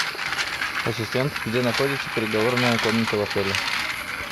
ассистент где находится переговорная комната в отеле